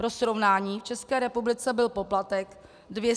Pro srovnání, v České republice byl poplatek 200 tis. korun.